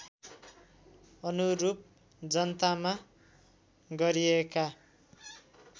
अनुरूप जनतामा गरिएका